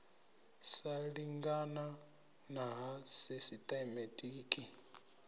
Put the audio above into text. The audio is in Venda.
sa lingana na ha sisitemetiki